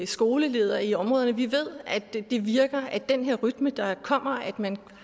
skolelederne i områderne vi ved at det virker den her rytme der kommer når man